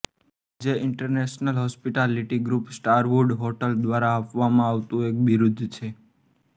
જે international hospitality group Starwood hotel દ્વારા આપવામાં આવતું એક બિરુદ છે